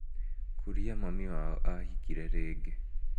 Kũria mami wao ahikire rĩngĩ